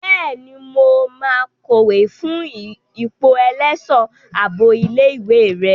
Bẹ́ẹ̀ni, mo máa kọ̀wé fún ipò ẹlẹ́ṣọ̀ ààbò ilé ìwé rẹ.